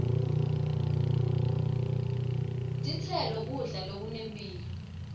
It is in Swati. titselo kudla lokunemphilo